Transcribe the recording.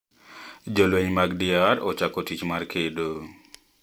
Jolweny mag DR ochako tich mar kedo